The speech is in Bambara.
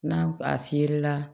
N'a a fiyɛlila